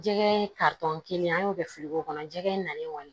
Jɛgɛ kelen an y'o kɛ fili ko kɔnɔ jɛgɛ in na kɔni